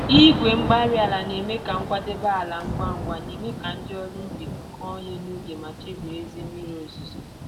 igwe-mgbárí-ala na-eme ka nkwadebe ala ngwa ngwa, némè' ka ndị ọrụ ubi kụọ ihe n'oge mà chebiri ezi mmiri ozuzo